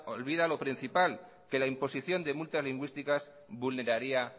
olvida lo principal que la imposición de multas lingüísticas vulneraría